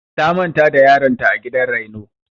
Ta manta da yaron ta a gidan raino.